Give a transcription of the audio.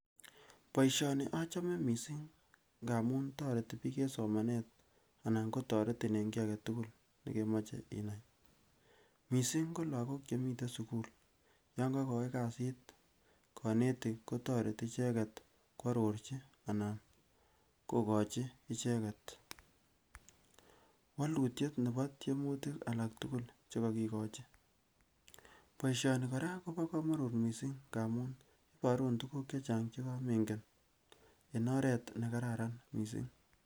Boisioni achome missing amun toreti biik en somanet anan kotoretin en kiy aketukul nekemoche inai missing ko lagok chemiten sukul yan kokoi kasit konetik kotoreti icheket kwororchi anan kokochi icheket wolutyet nebo tyemutik alak tukul chekokikochi. Boisioni kora kobo komonut missing amun iborun tukuk chechang chekomengen en oret nekararan missing